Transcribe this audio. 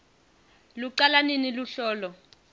lucala nini luhlolo